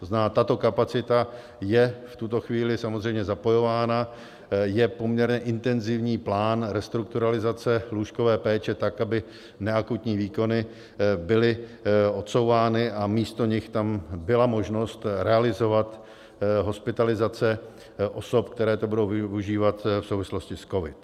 To znamená, tato kapacita je v tuto chvíli samozřejmě zapojována, je poměrně intenzivní plán restrukturalizace lůžkové péče tak, aby neakutní výkony byly odsouvány a místo nich tam byla možnost realizovat hospitalizace osob, které to budou využívat v souvislosti s covidem.